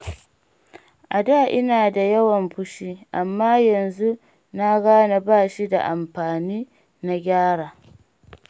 A da ina da yawan fushi, amma yanzu na gane bashi da amfani na gyara.